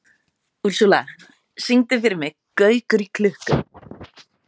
Úrsúla, syngdu fyrir mig „Gaukur í klukku“.